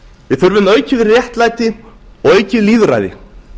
við þurfum aukið réttlæti og aukið lýðræði